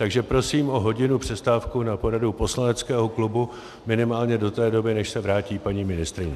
Takže prosím o hodinovou přestávku na poradu poslaneckého klubu, minimálně do té doby, než se vrátí paní ministryně.